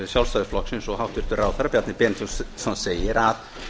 sjálfstæðisflokksins og hæstvirtur ráðherra bjarni benediktsson segir að